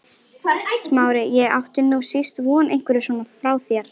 Smári, ég átti nú síst von einhverju svona frá þér!